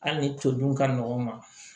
Hali ni todun ka nɔgɔn ma